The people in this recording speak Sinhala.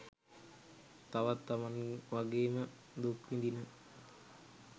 තවත් තමන් වගේම දුක්විඳින